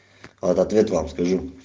а вот ответ вам скажу